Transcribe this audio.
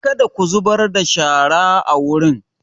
Kada ku zubar da shara a wurin!